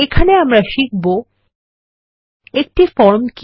এখানে আমরা শিখব একটি ফর্ম কি